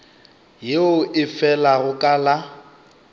yeo e felago ka la